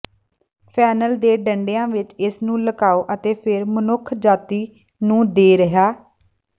fennel ਦੇ ਡੰਡਿਆਂ ਵਿਚ ਇਸ ਨੂੰ ਲੁਕਾਓ ਅਤੇ ਫਿਰ ਮਨੁੱਖਜਾਤੀ ਨੂੰ ਦੇ ਰਿਹਾ